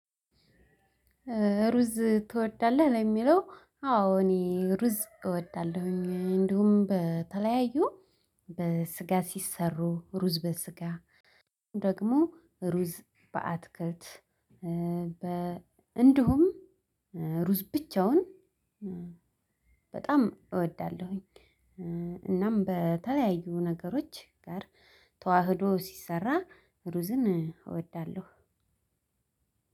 ሩዝ ትወዳለህ ለሚለው አዎ እኔ ሩዝ እወዳለሁኝ እንዲሁም በተለያዩ በስጋ ሲሰሩ ሩዝ በስጋ ደግሞ ሩዝ በአትክልት እንዲሁም እሩዝ ብቻውን በጣም አወዳለሁኝ። እናም በተለያዩ ነገሮች ጋር ተዋህዶ ሲሰራ እሩዝን እወዳለሁ።